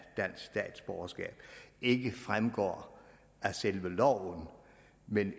dansk statsborgerskab ikke fremgår af selve loven men